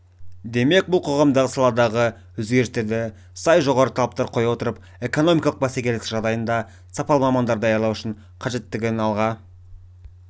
демек бұл қоғамдық саладағы өзгерістерді сай жоғары талаптар қоя отырып экономикалық бәсекелестік жағдайында сапалы мамандар даярлау қажеттігін алға